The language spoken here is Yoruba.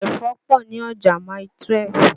Ẹ̀fọ́ pọ̀ ni ọjà Mile 12.